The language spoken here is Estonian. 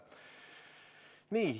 Nii.